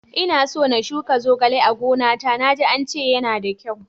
Inaso na shuka zogale a gona ta, na ji ance yana da kyau.